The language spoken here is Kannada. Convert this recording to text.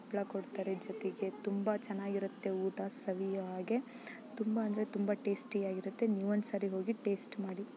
ಹಪ್ಪಳ ಕೋಡ್ತಾರೆ ಜೊತೆಗೆ ತುಂಬಾ ಚೆನ್ನಾಗಿರುತ್ತೆ ಊಟ ಸವಿಯಾಗೆ. ತುಂಬಾ ಅಂದರೆ ತುಂಬಾ ಟೇಸ್ಟಿ ಯಾಗಿ ಇರುತ್ತೆ. ನೀವ್ ಒಂದ್ ಸರಿ ಹೋಗಿ ಟೇಸ್ಟ್‌ ಮಾಡಿ.